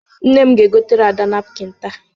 Nne m ga-egotere Ada napkịn taa.